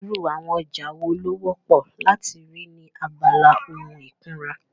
Irú àwọn ọjà wo ló wọ́pọ̀ láti rí ní abala ohun ìkunra?